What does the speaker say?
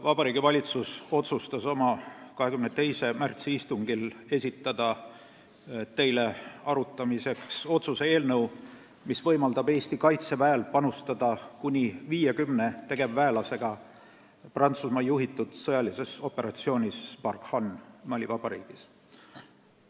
Vabariigi Valitsus otsustas oma 22. märtsi istungil esitada teile arutamiseks otsuse eelnõu, mis võimaldab Eesti Kaitseväel panustada kuni 50 tegevväelasega Prantsusmaa juhitud sõjalisse operatsiooni Barkhane Mali Vabariigis.